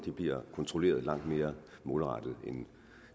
bliver kontrolleret langt mere målrettet end